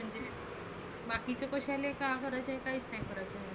बाकीचे कशाले काय करायचे काहीच नाही करायचं.